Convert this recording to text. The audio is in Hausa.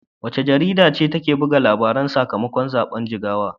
Wace jarida ce ta buga labarin sakamakon zaben Jigawa?